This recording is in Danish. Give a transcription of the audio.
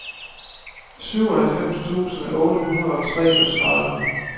syvoghalvfems tusind otte hundrede og treogtredive